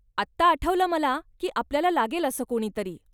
आत्ता आठवलं मला की आपल्याला लागेल असं कुणीतरी.